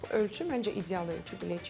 Bu ölçü məncə ideal ölçü,